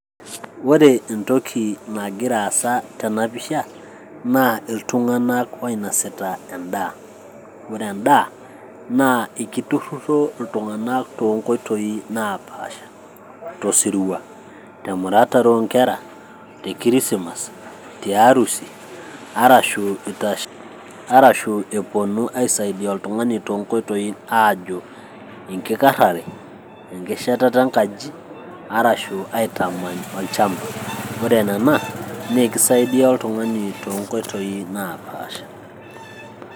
ore entoki nagira aasa tena pisha naa iltung'anak oinosita endaa ore endaa naa ekiturruro iltung'anak toonkoitoi naapasha tosirua temuratare oonkera te kirisimas tiarusi arashu itash arashu eponu aisaidia oltung'ani toonkoitoi aajo enkikarrare ekishatata enkaji arashu aitamany olchamba ore nena naa ekisaidia oltung'ani toonkoitoi napaasha.